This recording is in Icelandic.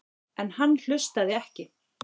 En hann hlustaði ekki.